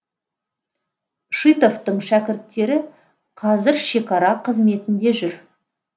шитовтың шәкірттері қазір шекара қызметінде жүр